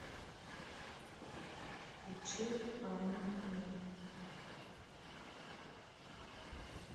включи аню мун